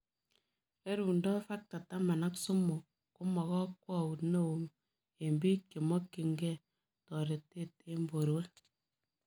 Rerundoo Factor taman ak somok komakakwaut neoo eng piik chemokyin gei toretet eng porwek